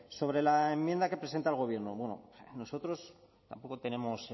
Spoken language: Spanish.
sobre la enmienda que presenta el gobierno bueno nosotros tampoco tenemos